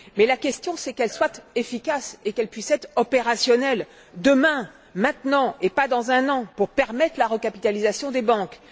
La question, c'est qu'elle soit efficace et qu'elle puisse être opérationnelle demain, maintenant et non pas dans un an, pour permettre la recapitalisation des banques